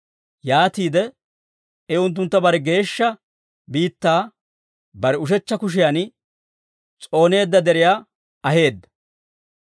Yaatiide I unttuntta bare geeshsha biittaa, bare ushechcha kushiyan s'ooneedda deriyaa aheedda.